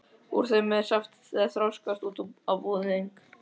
Úr þeim bý ég saft sem þroskast út á búðing.